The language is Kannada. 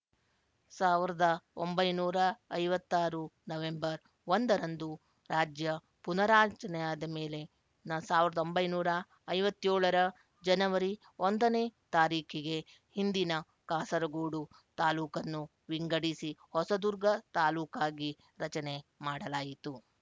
ಸಾವಿರದ ಒಂಬೈನೂರ ಐವತ್ತ್ ಆರು ನವ್ಹೆಂಬರ್ ಒಂದರಂದು ರಾಜ್ಯ ಪುನಾರಚನೆಯಾದ ಮೇಲೆ ಸಾವಿರದ ಒಂಬೈನೂರ ಐವತ್ತ್ ಏಳರ ಜನವರಿ ಒಂದನೇ ತಾರೀಖಿಗೆ ಹಿಂದಿನ ಕಾಸರಗೋಡು ತಾಲೂಕನ್ನು ವಿಂಗಡಿಸಿ ಹೊಸದುರ್ಗ ತಾಲೂಕಾಗಿ ರಚನೆ ಮಾಡಲಾಯಿತು